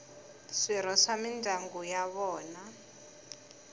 swirho swa mindyangu ya vona